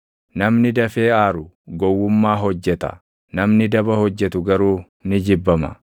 Namni dafee aaru gowwummaa hojjeta; namni daba hojjetu garuu ni jibbama.